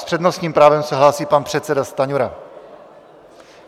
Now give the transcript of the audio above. S přednostním právem se hlásí pan předseda Stanjura.